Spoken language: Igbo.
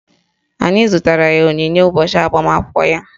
Anyị zụtara ya onyinye ụbọchị agbamakwụkwọ ya